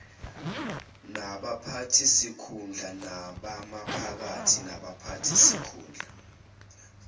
nabaphathisikhundla abamaphakathi nabaphathisikhundla